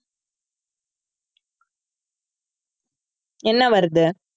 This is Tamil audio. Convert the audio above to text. என்ன வருது